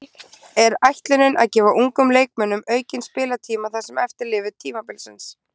Er ætlunin að gefa ungum leikmönnum aukinn spilatíma það sem eftir lifir tímabils?